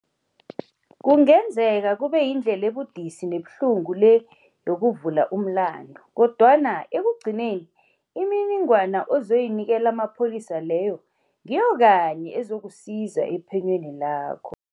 Kungenzeka kubeyindlela ebudisi nebuhlungu le yokuvula umlandu, kodwana ekugcineni imininingwana ozayinikela amapholisa leyo ngiyo kanye ezakusiza ephenyweni lawo.